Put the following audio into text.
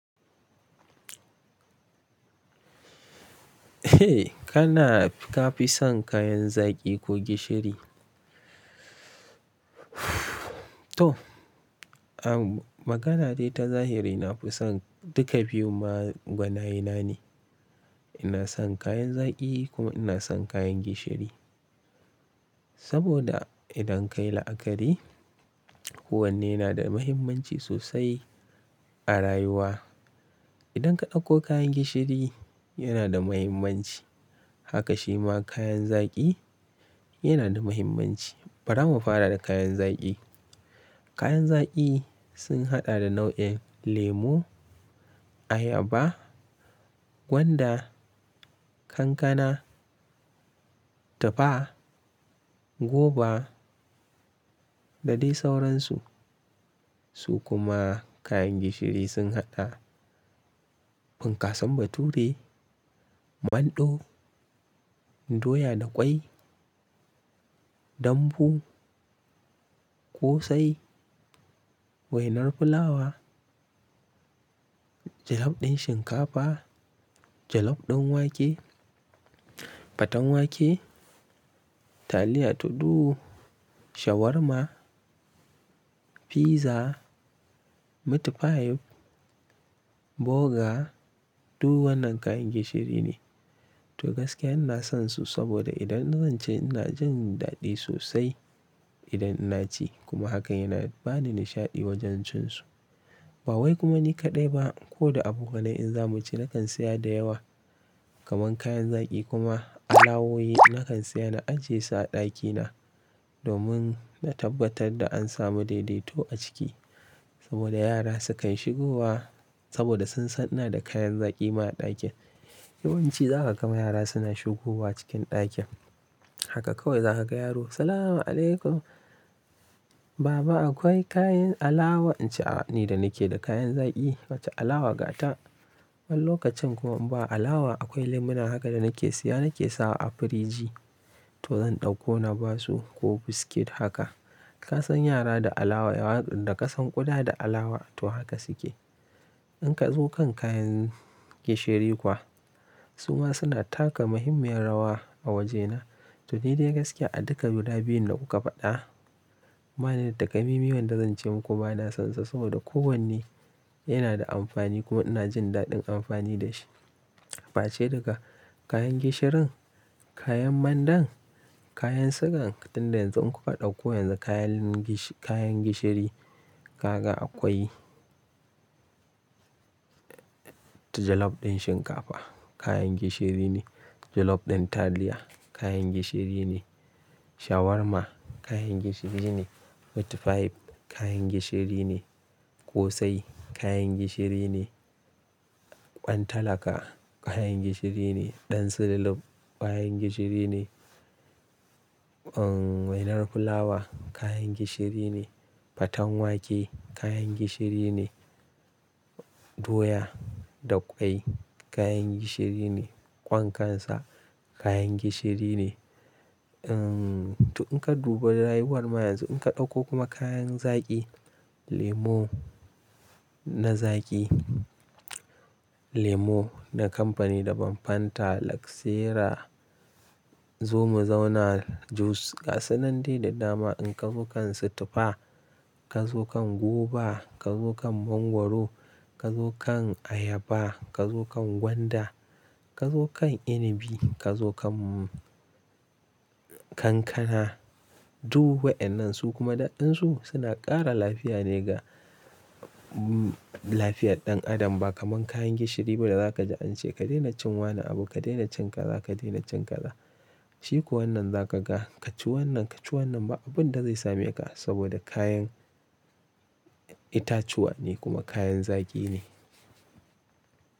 Eh kana ka fi son kayan zaƙi ko gishiri? To, a magana dai ta zahiri na fi son duka biyun ma gwanayena ne. Ina son kayan zaki kuma ina son kayan gishiri. Saboda idan kayi la'akari, kowanne na da muhimmanci sosai a rayuwa. Idan ka ɗauko kayan gishiri yana da muhimmanci, haka shima kayan zaƙi yana da muhimmanci. Bara mu fara da kayan zaƙi. Kayan zaƙi sun haɗa da nau'in lemu, ayaba, gwanda, kankana, tufa, goba da dai sauransu. Su kuma kayan gishiri sun haɗa bunkasan bature, manɗo, doya da kwai, dambu, ƙosai, wainar fulawa, jalof ɗin shinkafa, jalof ɗin wake, faten wake, taliya, tudu, shawarma, pizza, meat pie, burger duk wannan kayan gishiri ne. To gaskiya ina sonsu saboda idan zan ci ina jin daɗi sosai idan ina ci kuma hakan yana bani nishaɗi wajen cin su. Ba wai kuma ni kaɗai ba ko da abokanai in zamu ci nakan saya da yawa kamar kayan zaki kuma alawowi nakan saya na ajiye su a ɗakina domin na tabbatar da an samu daidaito a ciki. Saboda yara sukan shigo wa saboda sun san ina da kayan zaki ma a ɗakin. Yawanci za ka ga ma yara suna shigo wa cikin ɗakin. Haka kawai za ka ga yaro "Salam alaykum baba akwai kayan alawa?" In ce a ni da nake da kayan zaki wacce alawa ga ta? Wani lokacin kuma in ba alawa akwai lemu na haka da nake siya nake sawa a firiji to zan ɗauko na basu ko biskit haka. Ka san yara da alawa yawan da ƙasan ƙuda da alawa to haka suke. In ka zo kan kayan gishiri kuwa su ma suna taka muhimmiyar rawa a wajena. To ni dai gaskiya a duka guda biyun da kuka faɗa. Banida Takamai man wanda zan ce muku ba na sonsa saboda kowanne yana da amfani kuma ina jin daɗin amfani da shi. Face daga kayan gishirin, kayan mandan, kayan sugan tun da yanzu in kuka ɗauko yanzu kayan kayan gishiri ka ga akwai ta jalof ɗin shinkafa kayan gishiri ne, jalof ɗin taliya kayan gishiri ne, shawarma kayan gishiri ne, meat pie kayan gishiri ne, ƙosai kayan gishiri ne, ɓan talaka kayan gishiri ne, ɗan sululuf kayan gishiri ne, uhn wainar fulawa kayan gishiri ne, faten wake kayan gishiri ne, doya da kwai kayan gishiri ne, ƙwan kansa kayan gishiri ne. Uhn to in ka duba rayuwar ma yanzu in ka ɗauko kuma kayan zaki lemo na zaki, lemo na kamfani daban Fanta, Luxera, Zumo Zauna juice gasan nan dai da dama in ka zo kan su tufa, ka zo kan goba, ka zo kan mangwaro, ka zo kan ayaba, ka zo kan gwanda, ka zo kan inibi, ka zo kan kankana duk wa'annan su kuma daɗinsu suna ƙara lafiya ne ga lafiyar ɗan adam ba kamar kayan gishiri ba da zaka ji an ce ka daina cinwane abu, ka daina cin kaza, ka daina cin kaza. Shi kuwa wannan za ka ga ka ci wannan, ka ci wannan ba abun da zai same ka saboda kayan itatuwa ne kuma kayan zaki ne.